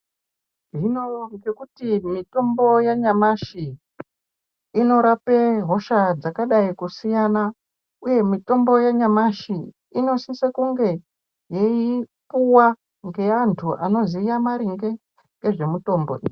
Hino ngekuti mitombo yanyamashi inorape hosha dzakadai kusiyana, uye mitombo yanyamashi inosise kunge yeipuwa ngeantu anoziya ngezvemaringe nemitombo iyi.